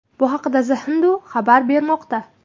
Bu haqda The Hindu xabar bermoqda .